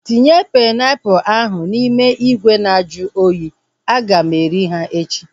Tinye painiapulu ahu n'ime ìgwè nju oyi, aga m eri ha echi